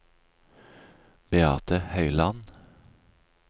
Beate Høyland